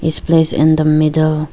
Is placed in the middle.